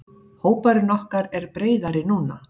Hópurinn okkar er breiðari núna.